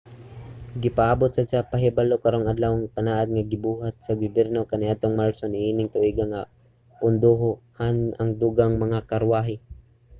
gipaabot sad sa pahibalo karong adlawa ang panaad nga gibuhat sa gobyerno kaniadtong marso niining tuiga nga pondohan ang dugang mga karwahe